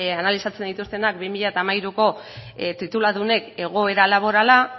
analizatzen dituztenak bi mila hamairuko tituludunek egoera laborala